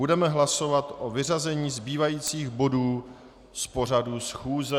Budeme hlasovat o vyřazení zbývajících bodů z pořadu schůze.